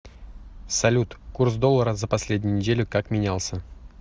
салют курс доллара за последнюю неделю как менялся